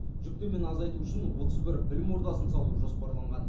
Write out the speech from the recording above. жүктемені азайту үшін отыз бір білім ордасын салу жоспарланған